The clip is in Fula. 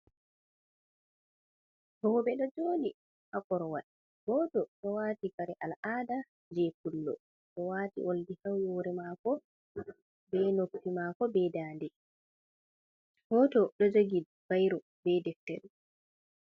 Rooɓe ɗo jooɗi dok korowal, gooto ɗo waati kare al'aada jey pullo, o waati oldi haa hoore mɗako be noppi maɗko, be daande, gooto ɗo jogi bayro be deftere.